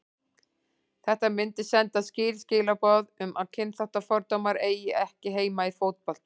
Þetta myndi senda skýr skilaboð um að kynþáttafordómar eiga ekki heima í fótbolta.